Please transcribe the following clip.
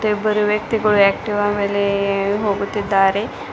ಇಬ್ಬರು ವ್ಯಕ್ತಿಗಳು ಆಕ್ಟೀವಾ ಮೇಲೆ ಹೋಗುತ್ತಿದ್ದಾರೆ.